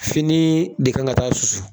Finii de kan ka taa susu